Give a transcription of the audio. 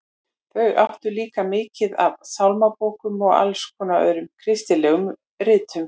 Þau áttu líka mikið af sálmabókum og alls konar öðrum kristilegum ritum.